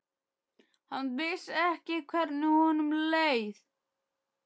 Hann vissi ekki hvernig honum leið.